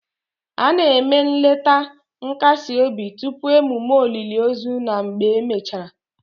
A na-eme nleta nkasi obi tupu emume olili ozu na mgbe emechara